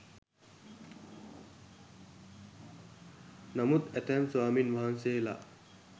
නමුත් ඇතැම් ස්වාමීන් වහන්සේලා